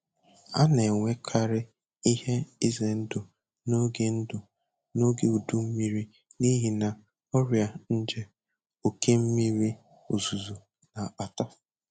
A na-enwekarị ihe ize ndụ n'oge ndụ n'oge udu mmiri n'ihi ọrịa nje oke mmiri ozuzo na-akpata